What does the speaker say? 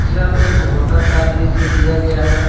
यह एक होटल का दृश्य दिया गया है।